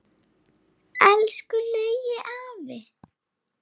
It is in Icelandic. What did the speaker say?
Elsku Laugi afi.